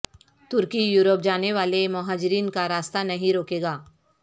ترکی Europe جانے والے مہاجرین کا راستہ نہیں روکے گا